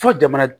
Fo jamana